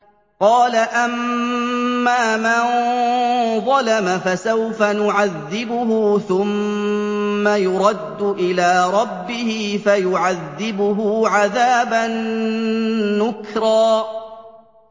قَالَ أَمَّا مَن ظَلَمَ فَسَوْفَ نُعَذِّبُهُ ثُمَّ يُرَدُّ إِلَىٰ رَبِّهِ فَيُعَذِّبُهُ عَذَابًا نُّكْرًا